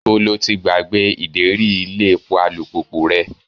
Ibo lo ti gbàgbé ideri ilé epo alùpùpù rẹ?